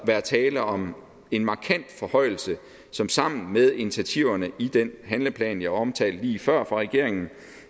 være tale om en markant forhøjelse som sammen med initiativerne i den handleplan jeg omtalte lige før fra regeringens